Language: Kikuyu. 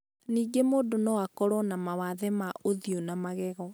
Ningĩ mũndũ no akorũo na mawathe ma ũthiũ na magego.